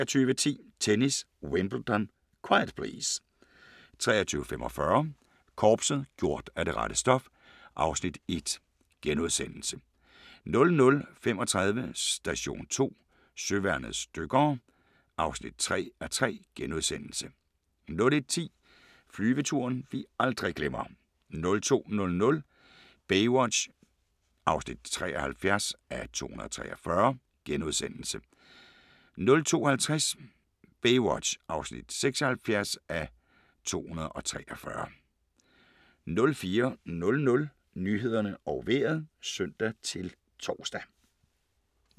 23:10: Tennis: Wimbledon - quiet please! 23:45: Korpset - gjort af det rette stof (Afs. 1)* 00:35: Station 2: Søværnets dykkere (3:3)* 01:10: Flyveturen vi aldrig glemmer 02:00: Baywatch (73:243)* 02:50: Baywatch (76:243) 04:00: Nyhederne og Vejret (søn-tor)